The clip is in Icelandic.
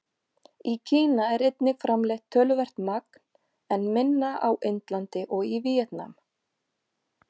Í Kína er einnig framleitt töluvert magn, en minna á Indlandi og í Víetnam.